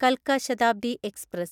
കൽക്ക Shatabdi express